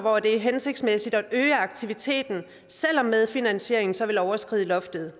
er hensigtsmæssigt at øge aktiviteten selv om medfinansieringen så vil overskride loftet